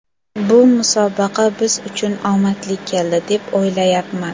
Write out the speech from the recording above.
Bu musobaqa biz uchun omadli keldi, deb o‘ylamayman.